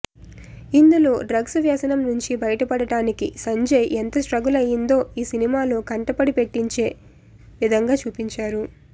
ఇందులో డ్రగ్స్ వ్యసనం నుంచి బయటపడటానికి సంజయ్ ఎంత స్ట్రగుల్ అయిందో ఈ సినిమాలో కంటపడి పెట్టించే విధంగా చూపించారు